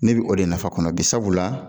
Ne bi o de nafa kɔnɔ bi sabula